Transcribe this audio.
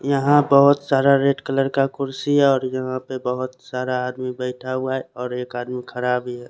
यहाँ बहोत सारा रेड कलर का कुर्सिया और यहाँ पे बहोत सारा आदमी बेठा हुआ है और एक आदमी खड़ा भी है।